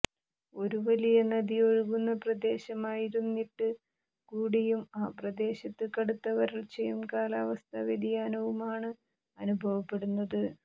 ഒരു വലിയ നദി ഒഴുകുന്ന പ്രദേശമായിരുന്നിട്ട് കൂടിയും ആ പ്രദേശത്ത് കടുത്ത വരള്ച്ചയും കാലാവസ്ഥാ വ്യതിയാനവുമാണ് അനുഭവപ്പെടുന്നത്